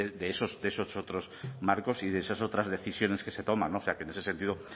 de esos de esos otros marcos y de esas otras decisiones que se toman no o sea que en ese sentido